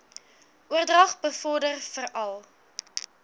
oordrag bevorder veral